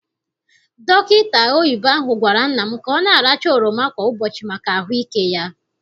Dọkịta oyibo ahụ gwara nna m ka ọ na- aracha oroma kwa ụbọchị maka ahụike ya.